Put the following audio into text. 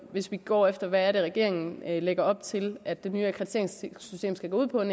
hvis vi går efter hvad regeringen lægger op til at det nye akkrediteringssystem skal gå ud på er